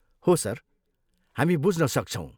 हो सर। हामी बुझ्न सक्छौँ।